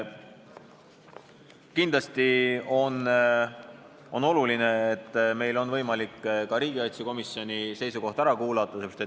Kindlasti on oluline, et meil on võimalik ka riigikaitsekomisjoni seisukoht ära kuulata.